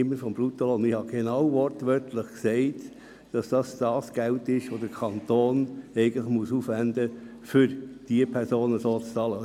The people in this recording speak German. Ich habe wortwörtlich gesagt, dass es sich dabei um das Geld handelt, welches der Kanton aufwenden muss, um die Personen zu bezahlen.